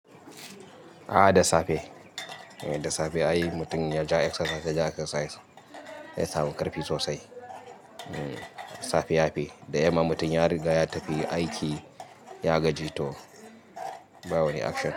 A'a da safe, da safe ai mutum yaje yayi exercise ya samu ƙarfi sosai. Safe yafi, da yamma mutum ya riga ya tafi aiki ya gaji toba wani action.